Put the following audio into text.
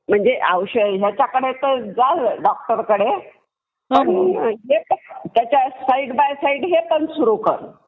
म्हणजे ह्याच्याकडे तर जाल डॉक्टरकडे पण त्याच्या साईड बाय साईड हे पण सुरु कर.